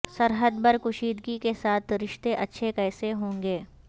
سرحد پر کشیدگی کے ساتھ رشتے اچھے کیسے ہوں گے